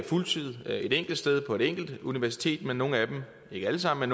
fuld tid et enkelt sted på et enkelt universitet nogle af dem ikke alle sammen